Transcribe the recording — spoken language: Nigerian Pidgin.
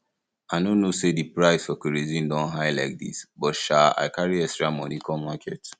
i no know say the price for kerosene don high like dis but sha i carry extra money come market